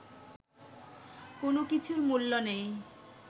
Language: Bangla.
কোনো কিছুর মূল্য নেই